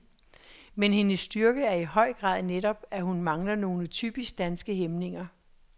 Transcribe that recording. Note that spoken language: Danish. Men hendes styrke er i høj grad netop, at hun mangler nogle typisk danske hæmninger.